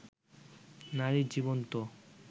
নারীর জীবন তো